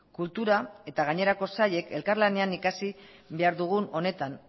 kultura eta gainerako sailek elkarlanean ikasi behar dugun honetan